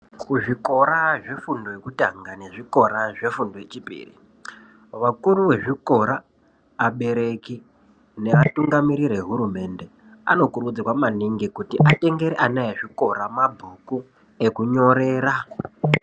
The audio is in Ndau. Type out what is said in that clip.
Kuzvikora zvefundo yekutanga nezvikora zvefundo yechipiri, vakuru vezvikora, abereki neatungamiriri ehururmende anokurudzirwa maningi kuti atengere ana ezvikora mabhuku ekunyorera.